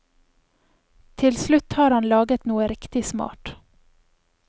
Til slutt har han laget noe riktig smart.